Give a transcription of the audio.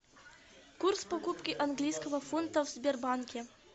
курс покупки английского фунта в сбербанке